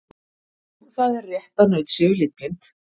Jú, það er rétt að naut séu litblind.